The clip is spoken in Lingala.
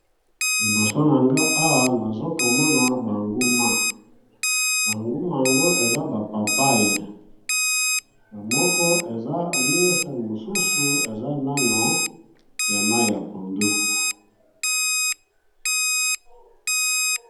Liboso na nga awa nazokomona banguma banguma yango eza bapapaye yamoko eza mure mosusu eza nano ya mai ya pondu.